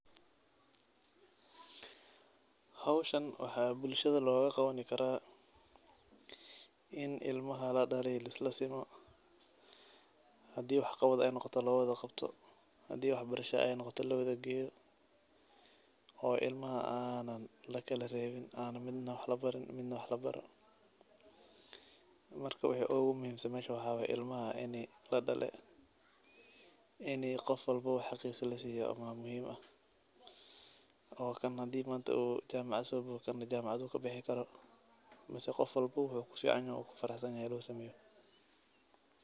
Howshan waxa bulshada loga qabani kara in ilmaha dale la islasimo, hadi waax qabad noqoto lo wada qabto hadi waax barasho la wada geeyo, oo ilmaha an la kala rebiin ana miid waax la baariin miid waax la baaro marka waxa ugu muhimsan waxa waye ilmaha ini la dhaale ini qof walbo xaqisa la siyo umba muhim ah, oo gaan hadu jamacaad so boogo kana inu jamacad kabixi karo ama ama qofwalbo wixi kuficanyaho ama ku farax sanyahay inu sameyo.